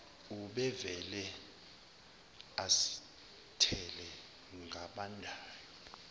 ubevele azithele ngabandayo